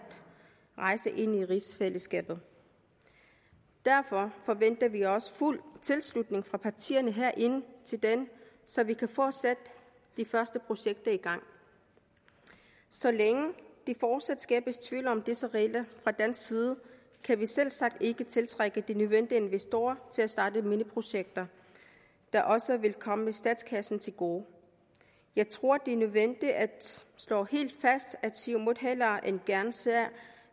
rejse ind i rigsfællesskabet derfor forventer vi også fuld tilslutning fra partierne herinde til den så vi kan få sat de første projekter i gang så længe der fortsat skabes tvivl om disse regler fra dansk side kan vi selvsagt ikke tiltrække de nødvendige investorer til at starte mineprojekter der også vil komme statskassen til gode jeg tror det er nødvendigt at slå helt fast at siumut hellere end gerne ser